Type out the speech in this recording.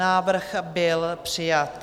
Návrh byl přijat.